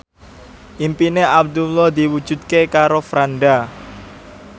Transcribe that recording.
impine Abdullah diwujudke karo Franda